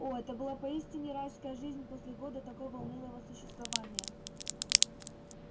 о это была поистине райская жизнь после года такого унылого существования